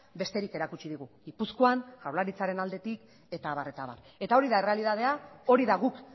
besterik erakutsi digu gipuzkoan jaurlaritzaren aldetik eta abar eta abar eta hori da errealitatea hori da guk